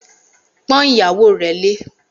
Pọ́n ìyàwó rẹ lé!